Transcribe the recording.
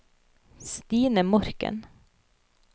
Stine Morken